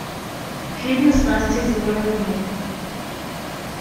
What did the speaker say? фильмы с настей заворотнюк